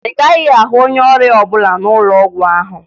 Ị gaghị ahụ onye ọrịa ọbụla n'ụlọ ọgwụ ahụ